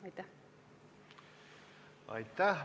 Aitäh!